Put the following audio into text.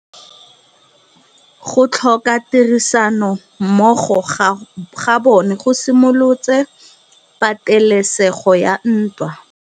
Go tlhoka tirsanommogo ga bone go simolotse patêlêsêgô ya ntwa.